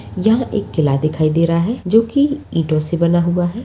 यहां एक किला दिखाई दे रहा है जो कि ईंटों से बना हुआ है।